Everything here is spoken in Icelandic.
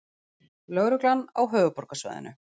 Lögreglan á höfuðborgarsvæðinu